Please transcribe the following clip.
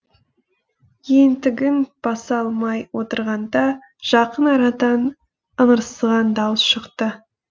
ентігін баса алмай отырғанда жақын арадан ыңырсыған дауыс шықты